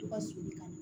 To ka suru ka na